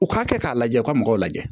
U k'a kɛ k'a lajɛ u ka mɔgɔw lajɛ